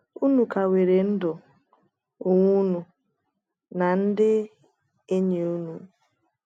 Unu ka nwere ndụ, onwe ụnụ, na ndị enyi ụnụ